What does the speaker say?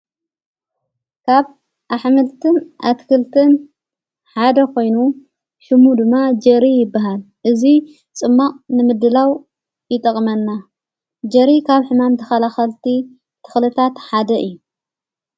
ካብ ኣኅምልትን ኣትክልትን ሓደ ኾይኑ ሽሙ ድማ ጀሪ ይብሃል እዙይ ጽማቕ ንምድላው ይጠቕመና ጀሪ ካብ ሕማም ተኸላኸልቲ ተኽልታት ሓደ እዩ።